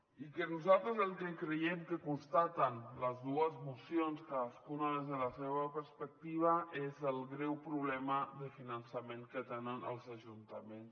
el que nosaltres creiem que constaten les dues mocions cadascuna des de la seva perspectiva és el greu problema de finançament que tenen els ajuntaments